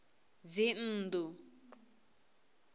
dzinnḓu